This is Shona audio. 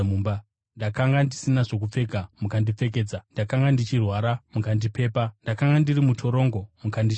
ndakanga ndisina zvokupfeka mukandipfekedza, ndakanga ndichirwara mukandipepa, ndakanga ndiri mutorongo mukandishanyira.’